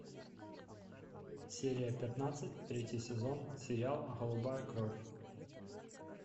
серия пятнадцать третий сезон сериал голубая кровь